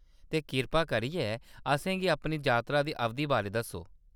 ते, कृपा करियै असेंगी अपनी जातरा दी अवधि बारै दस्सो।